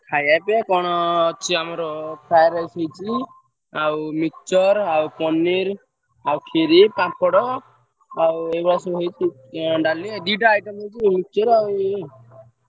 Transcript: ଖାଇଆ ପିଇଆ କଣ ଆମର fried rice ହେଇଚି ଆଉ mixture ଆଉ ପନିର୍ ଆଉ ଖିରୀ ପାମ୍ପଡ ଆଉ ଏଇ ଭଳିଆ ସବୁ ହେଇଚି ଅଁ ଡାଲି ଦି ଟା item ହେଇଚି mixture ଆଉ ଇଏ।